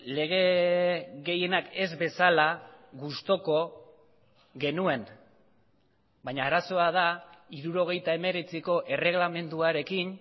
lege gehienak ez bezala gustuko genuen baina arazoa da hirurogeita hemeretziko erreglamenduarekin